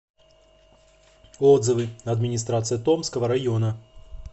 отзывы администрация томского района